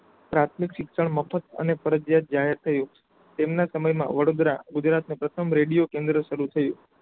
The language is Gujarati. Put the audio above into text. પ્રાથમિક શિક્ષણ મફત અને ફરજિયાત જાહેર થયું તેમના સમયમાં વડોદરા ગુજરાતનો પ્રથમ રેડિયો કેન્દ્ર સારું થયું.